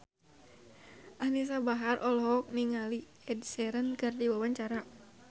Anisa Bahar olohok ningali Ed Sheeran keur diwawancara